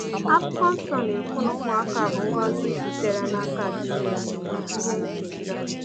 Akwụkwọ Nsọ na-ekwu na ụmụaka bụ ngọzi sitere n’aka Chineke, “ihe nketa.”